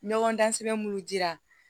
Ɲɔgɔndan sɛbɛn munnu jira